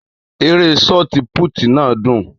Ère sọti púùtì náà dùn